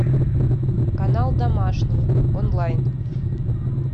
канал домашний онлайн